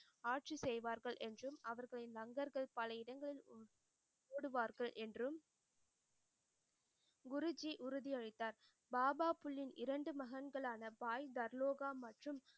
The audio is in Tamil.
ஆட்சி செய்வார்கள் என்றும் அவர்களின் லங்கர்கள் பல இடங்களில் ஓடுவார்கள் என்றும் குருஜி உறுதி அளித்தார் பாபா புல்யின் இரண்டு மகன்களான பாய்தர்லோக மற்றும்